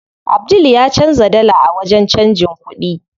Abdul ya canza dala a wajen canjin kuɗi.